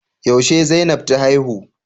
Yaushe Zainab ta haihu?